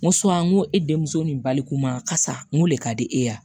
N ko n ko e denmuso nin baliku ma kasa n ko le ka di e ye